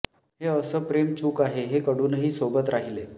हे असं प्रेम चूक आहे हे कळूनही सोबत राहिले